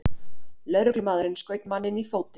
Lögreglumaðurinn skaut manninn í fótinn